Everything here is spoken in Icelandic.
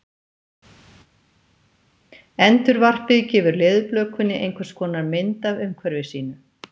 Endurvarpið gefur leðurblökunni einhvers konar mynd af umhverfi sínu.